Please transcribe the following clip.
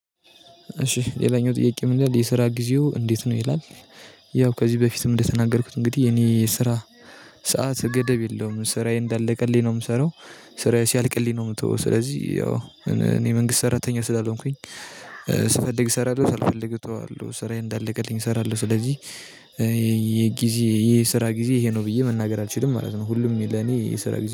እሺ ሌላኛው ጥያቄ ምን ይላል የስራ ጊዜው እንዴት ነው ይላል? ያው ከዚህ በፊትም እንደተናገርኩት እንግዲህ የኔ የስራ ሰዓት ገደብ የለውም። ስራዬ እንዳለቀልኝ ነው የምሰራው ስራዬ ሲያልቅልኝ ነው የምተው። ስለዚህ ያው መንግስት ሰራተኛ ስላልሆንኩኝ ስፈልግ እሰራለሁ ስልፈልግ እተዋለሁ ስራዬን እንዳለቀልኝ እሰራለሁ። ስለዚህ የጊዜ የስራ ጊዜ ይሄ ነው ብዬ መናገር አልችልም ማለት ነው። ሁሉም ለኔ የስራ